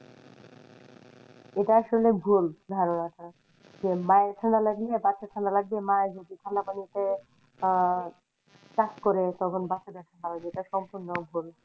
এটা আসলে ভুল ধারনা টা যে মায়ের ঠাণ্ডা লাগলে বাচ্চার ঠাণ্ডা লাগবে মা যদি ঠাণ্ডা পানিতে আহ কাজ করে তখন বাচ্চা টার ঠাণ্ডা লেগে যায় এটা সম্পূর্ণ ভুল।